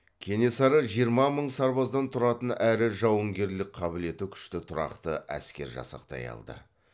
кенесары жиырма мың сарбаздан тұратын әрі жауынгерлік қабілеті күшті тұрақты әскер жасақтай алды